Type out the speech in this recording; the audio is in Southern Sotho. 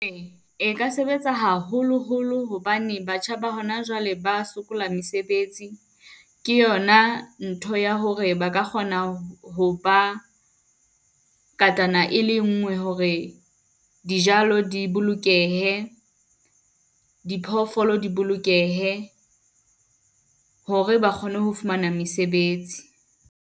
E ka sebetsa haholoholo hobane batjha ba hona jwale, ba sokola mesebetsi. Ke yona ntho ya hore ba ka kgona ho ba ngatana e le ngwe. Hore dijalo di bolokehe, diphoofolo di bolokehe hore ba kgone ho fumana mesebetsi.